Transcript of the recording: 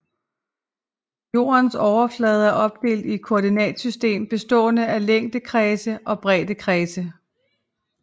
Jordens overflade er opdelt i et koordinatsystem bestående af længdekredse og breddekredse